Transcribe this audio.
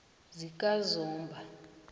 zikazomba